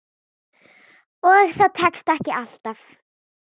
Og það tekst ekki alltaf.